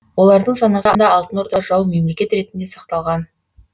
олардың санасында алтын орда жау мемлекет ретінде сақталған